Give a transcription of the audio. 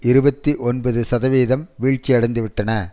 இருபத்தி ஒன்பது சதவீதம் வீழ்ச்சியடைந்து விட்டன